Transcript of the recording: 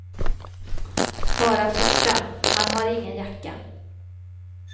Bara skjorta, han har ingen jacka.